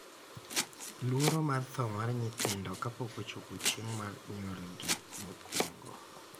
luoro mar tho mar nyithindo kapok ochopo chieng' mar nyuolgi mokwongo